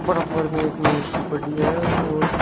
में एक मेज पड़ी है और--